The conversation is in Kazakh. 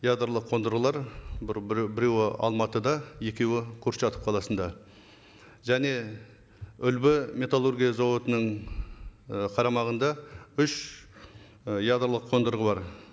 ядролық қондырғылар бір бір біреуі алматыда екеуі курчатов қаласында және үлбі металлургия зауытының і қарамағында үш і ядролық қондырғы бар